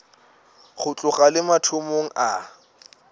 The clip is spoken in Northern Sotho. go tloga le mathomong a